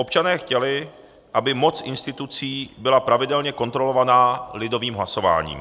Občané chtěli, aby moc institucí byla pravidelně kontrolovaná lidovým hlasováním.